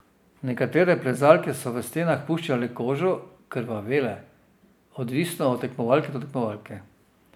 Nekatere plezalke so v stenah puščale kožo, krvavele: "Odvisno od tekmovalke do tekmovalke.